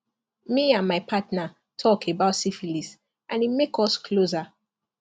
me and my partner talk about syphilis and e make us closer